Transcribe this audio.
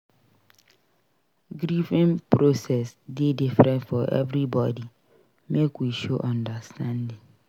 Grieving process dey different for everybody; make we show understanding.